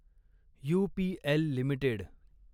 UPL limited